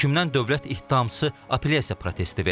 Hökmündən dövlət ittihamçısı apellyasiya protesti verib.